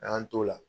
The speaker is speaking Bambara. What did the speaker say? An y'an t'o la